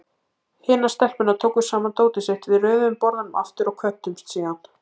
Hinar stelpurnar tóku saman dótið sitt, við röðuðum borðunum aftur og kvöddumst síðan.